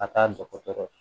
A t'a dɔgɔtɔrɔ ye